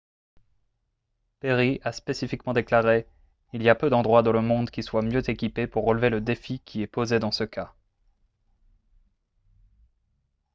perry a spécifiquement déclaré :« il y a peu d'endroits dans le monde qui soient mieux équipés pour relever le défi qui est posé dans ce cas »